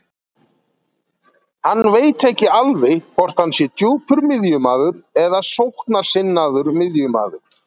Hann veit ekki alveg hvort hann sé djúpur miðjumaður eða sóknarsinnaður miðjumaður.